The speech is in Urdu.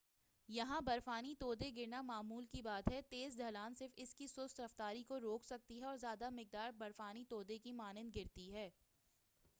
یہاں برفانی تودے گرنا معمول کی بات ہے تیز ڈھلان صرف اسکی سست رفتاری کو روک سکتی ہے اور زیادہ مقدار برفانی تودے کی مانند گرتی ہے